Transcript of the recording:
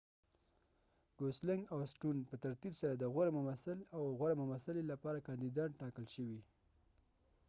ګوسلنګ او سټون پّه ترتیب سره د غوره ممثل او غوره ممثلې لپاره کاندیدان ټاکل شوي